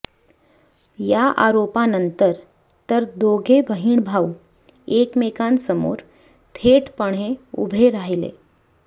या आरोपानंतर तर दोघे बहीणभाऊ एकमेकांसमोर थेटपणे उभे राहिले